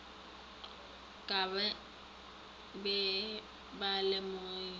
ka ba be ba lemogile